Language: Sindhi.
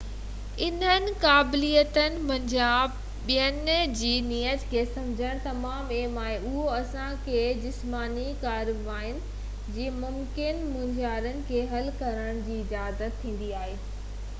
انهن قابليتن منجهان ٻين جي نيت کي سمجهڻ تمام اهم آهي اهو اسان کي جسماني ڪارواين جي ممڪن مونجهارن کي حل ڪرڻ جي اجازت ڏيندي آهي